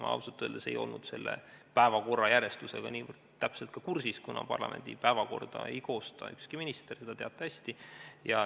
Ma ausalt öeldes ei olnud päevakorra järjestusega niivõrd täpselt ka kursis, kuna parlamendi päevakorda ei koosta ükski minister, seda te teate hästi.